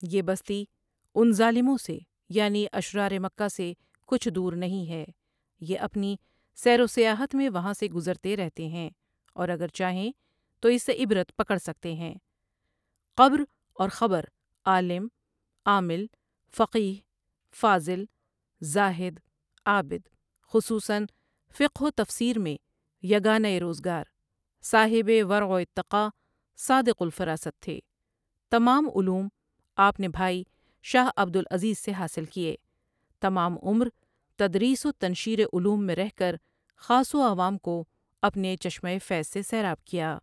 یہ بستی ان ظالموں سے یعنی اشرار مکہ سے کچھ دور نہیں ہے یہ اپنی سیروسیاحت میں وہاں سے گزرتے رہتے ہیں اور اگر چاہیں تو اس سے عبرت پکڑ سکتے ہیں قبر اور خبر عالم ،عامل، فقیہ فاضل، زاہد، عابد خصوصاً فقہ و تفسیر میں یگانۂروزگار، صاحبِ ورع واتقاء صادق الفراست تھے، تمام علوم آپ نے بھائی شاہ عبد العزیز سے حاصل کیے، تمام عمر تدریس و تنشیر علوم میں رہ کر خاص و عوام کو اپنے چشمۂ فیض سے سیراب کیا ۔